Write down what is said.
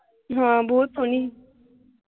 ਹਾਂ ਬਹੁਤ ਸੋਹਣੀ ਸੀ।